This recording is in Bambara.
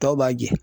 Tɔw b'a jɛn